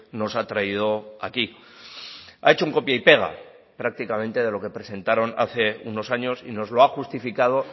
nos ha traído aquí ha hecho un copia y pega prácticamente de lo que presentaron hace unos años y nos lo ha justificado